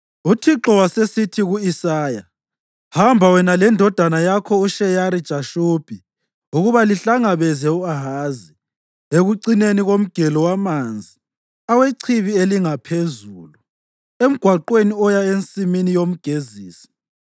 UThixo wasesithi ku-Isaya, “Hamba wena lendodana yakho uSheyari-Jashubi ukuba lihlangabeze u-Ahazi ekucineni komgelo wamanzi oweChibi Elingaphezulu, emgwaqweni oya Ensimini Yomgezisi.